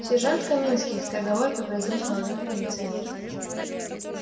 сержант каминский скороговоркой произнёс молодой милиционер